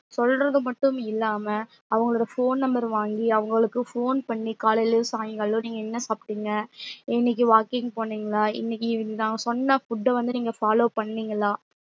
சொல்றது மட்டும் இல்லாம அவங்களோட phone number வாங்கி அவுங்களுக்கு phone பண்ணி காலைலையும் சாய்ங்காலம் நீங்க என்ன சாப்டிங்க இன்னக்கி walking போனிங்களா இன்னக்கி இதுதா நாங்க சொன்ன food வந்து நீங்க follow பண்ணிங்களா